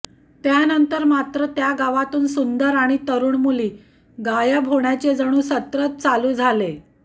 त्यानंतर मात्र त्या गावातून सुंदर आणि तरुण मुली गायब होण्याचे जणू सत्रच चालू झाले